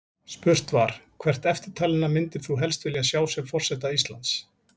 Spurt var: Hvert eftirtalinna myndir þú helst vilja sjá sem forseta Íslands?